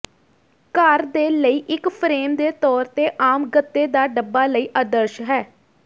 ਘਰ ਦੇ ਲਈ ਇੱਕ ਫਰੇਮ ਦੇ ਤੌਰ ਤੇ ਆਮ ਗੱਤੇ ਦਾ ਡੱਬਾ ਲਈ ਆਦਰਸ਼ ਹੈ